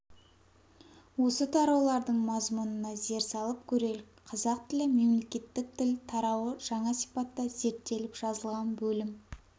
осы тараулардың мазмұнына зер салып көрелік қазақ тілі мемлекеттік тіл тарауы жаңа сипатта зерттеліп жазылған бөлім